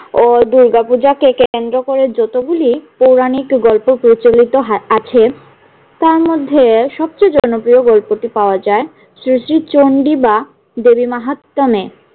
ও দুর্গাপূজাকে কেন্দ্র করে যতগুলি পৌরাণিক গল্প প্রচলিত হা~ আছে তার মধ্যে সবচেয়ে জনপ্রিয় গল্পটি পাওয়া যায় শ্রী শ্রী চন্ডী বা দেবী মাহাত্ম্যম এ।